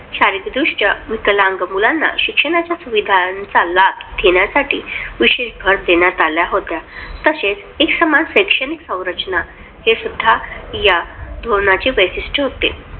आणि शारीरिकदृष्ट्या विकलांग मुलांना शिक्षणाच्या सुविधांचा लाभ घेण्यासाठी विशेष भर देण्यात आला होता. तसेच एकसमान शैक्षणिक संरचना हे सुद्धा या धोरणाचे वैशिष्ट्य होते.